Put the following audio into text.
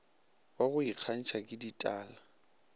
wa go ikgantšha ke ditala